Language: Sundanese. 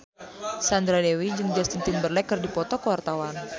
Sandra Dewi jeung Justin Timberlake keur dipoto ku wartawan